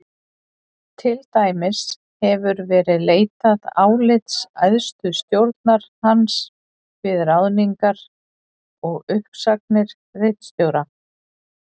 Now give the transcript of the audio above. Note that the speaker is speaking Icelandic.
Til dæmis hefur verið leitað álits æðstu stjórnar hans við ráðningar og uppsagnir ritstjóra.